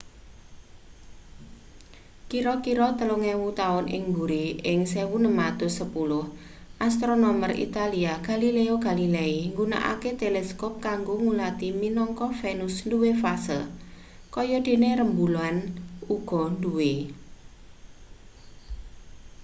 kira-kira telung ewu taun ing buri ing 1610 astronomer italia galileo galilei nggunakake teleskop kanggo ngulati minangka venus duwe fase kaya dene rembulan uga duwe